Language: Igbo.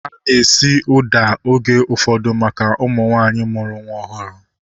Ana esi ụda oge ụfọdụ maka ụmụ nwaanyị mụrụ nwa ọhụrụ